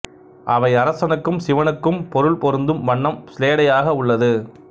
அவை அரசனுக்கும் சிவனுக்கும் பொருள் பொருந்தும் வண்ணம் சிலேடையாக உள்ளது